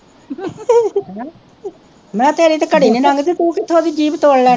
ਮੈਂ ਕਿਹਾ ਤੇਰੀ ਤਾਂ ਘੜੀ ਨਹੀਂ ਲੰਘਦੀ ਤੂੰ ਕਿੱਥੋਂ ਉਹਦੀ ਜੀਭ ਤੋੜ ਲੈਣੀ